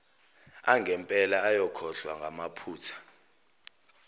angempela ayakhohlwa ngamaphutha